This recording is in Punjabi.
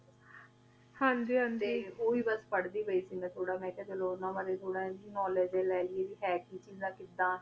ਹਾਂਜੀ ਹਾਂਜੀ ਓਹੀ ਬਾਸ ਪਰ੍ਹਦੀ ਪੈ ਸੀ ਮੈਂ ਥੋਰਾ ਮੈਂ ਅਖ੍ਯਾ ਚਲੋ ਓਨਾ ਬਾਰੇ ਬਾਰੇ ਥੋਰਾ knowledge ਲਾ ਲਿਯਾ ਥੋਰਾ ਕੇ ਹੈ ਕੀ ਚੀਜ਼ਾਂ ਕਿਦਾਂ ਕਾਫੀ ਊ ਚੀਜ਼ਾਂ ਨਾਈ ਪਤਾ ਸੀਗਾ ਮੇਨੂ ਜਿਨਾਂ ਦਾ ਹਾਂਜੀ